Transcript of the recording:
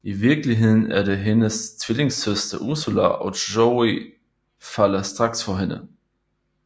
I virkeligheden er det hendes tvillingesøster Ursula og Joey falder straks for hende